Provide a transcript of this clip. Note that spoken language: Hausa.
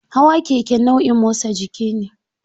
Hawa keke nau'in motsa jiki ne.